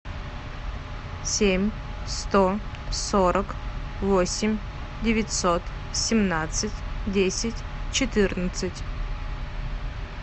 семь сто сорок восемь девятьсот семнадцать десять четырнадцать